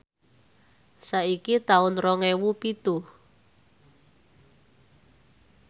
saiki taun rong ewu pitu